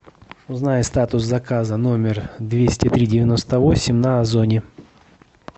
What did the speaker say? узнай статус заказа номер двести три девяносто восемь на озоне